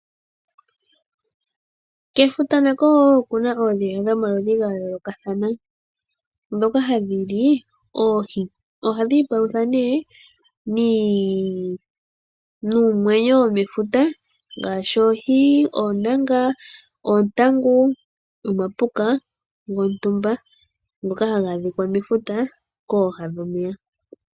Kefuta kako okuna oondhila dhomomeya dhayoloka, ndhoka hadhili oohi, ohadhi palutha née nuunamwenyo womefuta ngaashi oohi, oontangu, omapuka gontumba ngoka haga adhika komunkulo gwefuta.